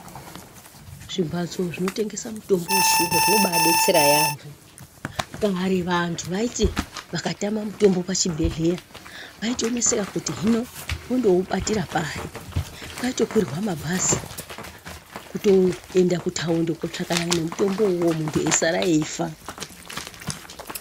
Zvimbatso zvinotengesa mutombo wechiyungu zvinobaadetsera yaambo. Kare vantu vaiti vakatama mutombo pachibhedhlera vaitoneseka kuti hino vondoubatira pari. Kwaitokwirwa mabhazi kutoenda kutaundi kootsvakane nemutombo uwowo, muntu eisara echifa.